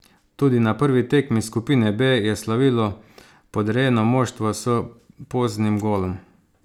Tudi na prvi tekmi skupine B je slavilo podrejeno moštvo s poznim golom.